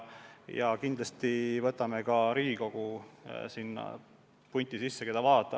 Ja kindlasti võtame ka Riigikogu nende asutuste punti, keda vaadata.